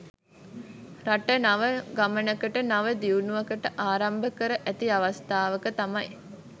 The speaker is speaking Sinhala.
රට නව ගමනකට නව දියුණුවකට ආරම්භ කර ඇති අවස්ථාවක තමයි